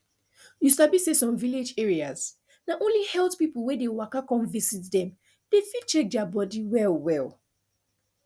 you sabi say some village areas na only health people wey dey waka come visit dem fit dey check their body well well